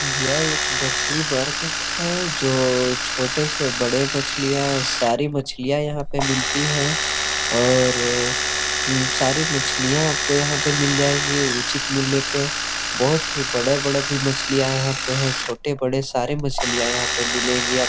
यह एक मछली मार्किट है जो छोटे से बड़े मछलियाँ सारे मछलियां यहाँ पे मिलती है और उम्म सारे मछलियां आपको यहाँ मिल जाएगी उचित मूल्ये पर बहुत ही बड़ा - बड़ा मछलियां है यहाँ पे छोटी बड़े सारे मछलियां मछलियां है यहाँ पर मिलेगी आ --